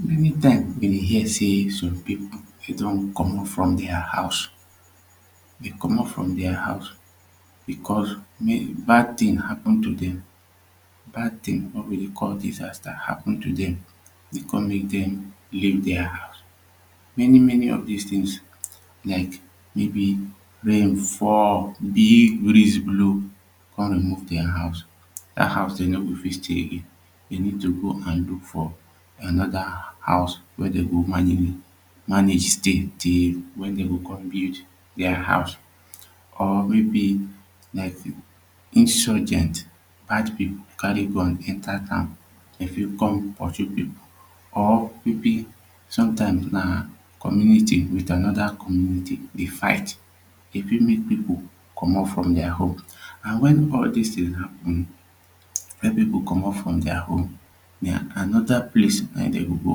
Many time we dey hia seh som people dey don comot from dia house dey comot from dia house becos bad tin happen to dem bad tin wey we dey call disaster happen to dem e come mek dem leave dia house. Many many of dis to tins like maybe rain fall big breeze blow e com remove diahouse dat house dem no go fit stay dey need to go an look fur anoda house wey dem go manage stay till wen dem go com build dia house or maybe like insurgent bad people carry gun enta town com pursue people or maybe sometimes na community wit anoda community dey fight e fit mek people comot from their home and when all this thing happen wey people comot from diahome na anoda place na him dem go go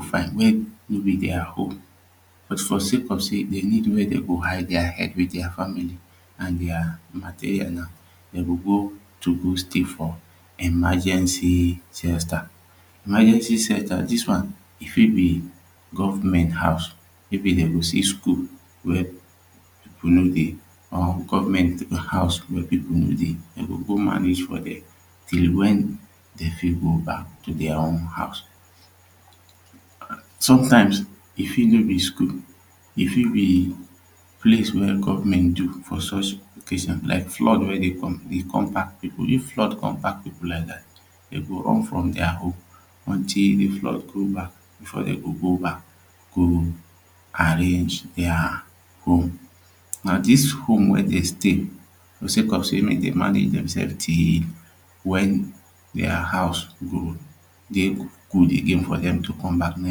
find wia maybe dia home or for de sake of say dey need wia dem go hide dia head wit dia family an dia material na dem go go to go stay for emergency centre. Emagency centa dis one e fit be gofment house maybe dem go see school wia people no dey or gofment house wia people no dey dem go go manage for dia till wen dey fit go back to dia own house sometimes e fit no be school e fit be place wia gofment do for such occasions like flood wey dey come pack people. If flood dey come pack people like dat dem go run from dia home until the flood go back before dem go go back go arrange dia home. Now dis home wey dem dey stay wit circumstances say dem dey manage dem selves till wen dia house go dey good again for dem to come back na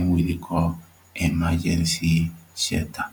him we dey call emagency shelta